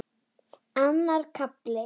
Annar kafli